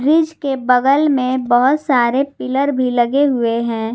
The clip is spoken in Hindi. ब्रिज के बगल में बहुत सारे पिलर भी लगे हुए हैं।